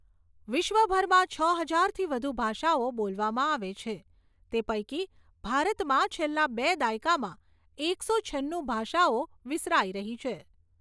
વિશ્વભરમાં છ હજારથી વધુ ભાષાઓ બોલવામાં આવે છે તે પૈકી ભારતમાં છેલ્લા બે દાયકામાં એકસો છન્નું ભાષાઓ વિસરાઈ રહી છે.